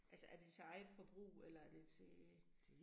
Altså er det til eget forbrug eller er det til